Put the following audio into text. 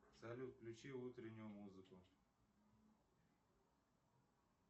салют включи утреннюю музыку